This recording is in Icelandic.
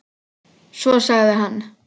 Svo sagði hann